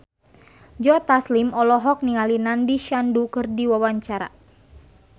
Joe Taslim olohok ningali Nandish Sandhu keur diwawancara